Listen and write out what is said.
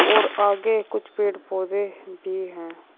और आगे कुछ पेड़ पौधे भी हैं।